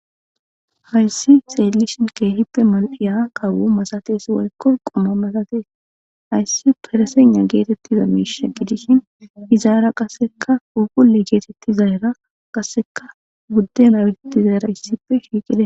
Hayssi xeellishin keehippe mal7iya kawo masates waykko quma masatees. Hayssi fereseynna geetettiza miisha gidishin izaara qassekka phuuphulle geetetti zayra qasseka budde nawetettizaraa issippe shiiqizay.